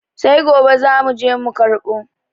Sai gobe zamu je mu karɓo.